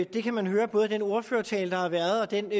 det kan man høre både af den ordførertale der har været og af den